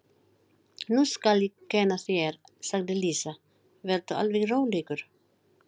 Nú skal ég kenna þér, sagði Lísa, vertu alveg rólegur.